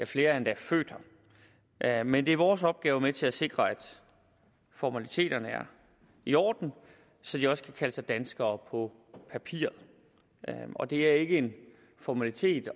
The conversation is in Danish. flere er endda født her men det er vores opgave med til at sikre at formaliteterne er i orden så de også kan kalde sig danskere på papiret det er ikke en formalitet